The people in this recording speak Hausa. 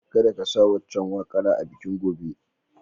Kadda ka sa waccan waƙara a bikin gobe.